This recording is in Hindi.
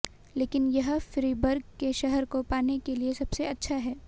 लेकिन यह फ्रीबर्ग के शहर को पाने के लिए सबसे अच्छा है